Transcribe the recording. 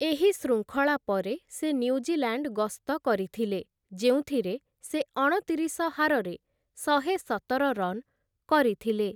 ଏହି ଶୃଙ୍ଖଳା ପରେ ସେ ନ୍ୟୁଜିଲାଣ୍ଡ ଗସ୍ତ କରିଥିଲେ ଯେଉଁଥିରେ ସେ ଅଣତିରିଶ ହାରରେ ଶହେସତର ରନ୍ କରିଥିଲେ ।